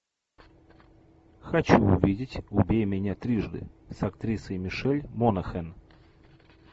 хочу увидеть убей меня трижды с актрисой мишель монахэн